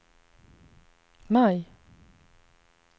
maj